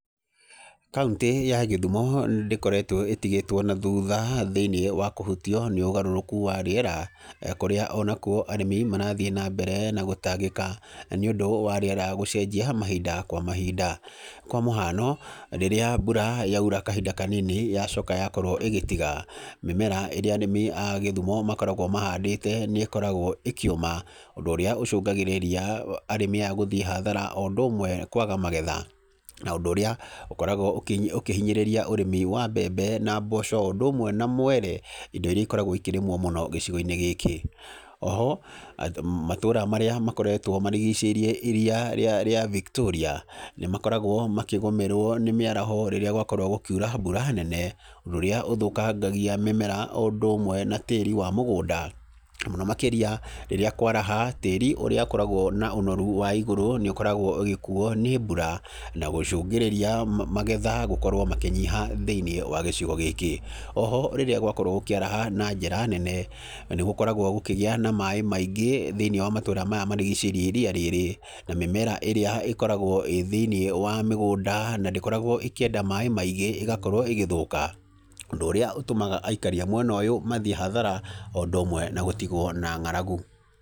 Kauntĩ ya Kisumu ndĩkoretwo ĩtigĩtwo na thutha thĩiniĩ wa kũhutio nĩ ũgarũrũku wa rĩera, kũrĩa ona kuo arĩmi marathiĩ na mbere na gũtangĩka, na nĩ ũndũ wa rĩera gũcenjia mahinda kwa mahinda. Kwa mũhano, rĩrĩa mbura yaura kahinda kanini, yacoka yakorwo ĩgĩtiga, mĩmera ĩrĩa arĩmi a Kisumu makoragwo mahandĩte nĩ ĩkoragwo ĩkĩũma, ũndũ ũrĩa ũcũngagĩrĩria arĩmi aya gũthiĩ hathara o ũndũ ũmwe kwaga magetha. Na ũndũ ũrĩa ũkoragwo ũkĩhinyĩrĩria ũrĩmi wa mbembe na mboco o ũndũ ũmwe na mwere, indo iria ikoragwo ikĩrĩmwo mũno gĩcigo-inĩ gĩkĩ. Oho, matũra marĩa makoragwo marigicĩirie iria rĩa Victoria nĩ makoragwo makĩgũmĩrwo nĩ mĩaraho rĩrĩa gwakorwo gũkiura mbura nene, ũndũ ũrĩa ũthũkangagia mĩmera o ũndũ ũmwe na tĩri wa mũgũnda, mũno makĩria rĩrĩa kũaraha tĩri ũrĩa ũkoragwo na ũnoru wa igũrũ nĩ ũkoragwo ũgĩkuo nĩ mbura, na gũcũngĩrĩria magetha gũkorwo makĩnyiha thĩiniĩ wa gĩcigo gĩkĩ. Oho, rĩrĩa gũakorwo gũkĩaraha na njĩra nene, nĩ gũkoragwo gũkĩgĩa na maaĩ maingĩ thĩiniĩ wa matũra maya marigicĩirie iria rĩrĩ. Na mĩmera ĩrĩa ĩkoragwo ĩ thĩiniĩ wa mĩgũnda na ndĩkoragwo ĩkĩenda maaĩ maingĩ ĩgakorwo ĩgĩthũka. Ũndũ ũrĩa utũmaga aikari a mwena ũyũ mathiĩ hathara o ũndũ ũmwe na gũtigwo na ng'aragu.